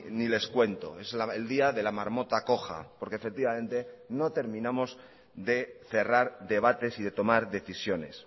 ni les cuento es el día de la marmota coja porque efectivamente no terminamos de cerrar debates y de tomar decisiones